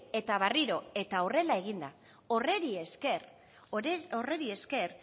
eta berriro eta horrela egin da horri esker